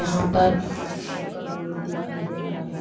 यहाँ पर heart shape का बलून दिखाई दे रहा है।